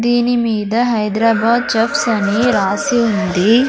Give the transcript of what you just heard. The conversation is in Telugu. దీని మీద హైదరాబాద్ చెఫ్స్ రాసి ఉంది.